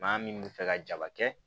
Maa min bɛ fɛ ka jaba kɛ